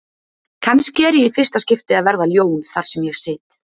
Kannski er ég í fyrsta skipti að verða ljón þar sem ég sit.